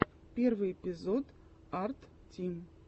первый эпизод арттим